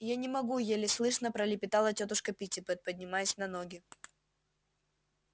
я не могу еле слышно пролепетала тётушка питтипэт поднимаясь на ноги